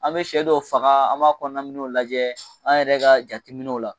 An bɛ sɛ dɔw faga an b'a kɔnɔminɛw lajɛ an yɛrɛ ka jateminɛw la